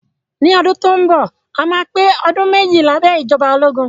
Ní ọdún tó ń bọ̀, a máa pé ọdún méjì lábẹ́ ìjọba ológun